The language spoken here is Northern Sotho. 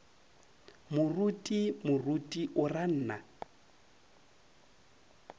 moruti moruti o ra nna